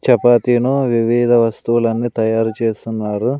చపాతీను వివిధ వస్తువులన్నీ తయారు చేస్తున్నారు.